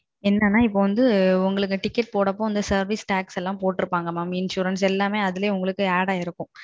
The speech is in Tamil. என்னனா இப்போ வந்து நீங்க TIcket போடும் பொது வந்து Service Tax போட்ருப்பாங்க Insurance அதுலயே Add ஆகிருக்கும்